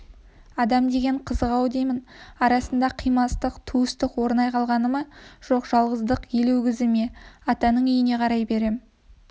адам деген қызық-ау демнің арасында қимастық туыстық орнай қалғаны ма жоқ жалғыздық елегізуі ме атаның үйіне қарай берем